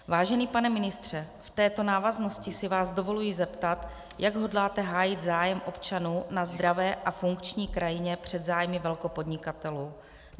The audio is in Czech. Vážený pane ministře, v této návaznosti si vás dovoluji zeptat, jak hodláte hájit zájem občanů na zdravé a funkční krajině před zájmy velkopodnikatelů.